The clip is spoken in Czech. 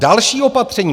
Další opatření.